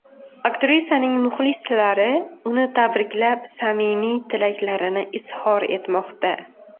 Aktrisaning muxlislari uni tabriklab, samimiy tilaklarini izhor etmoqda.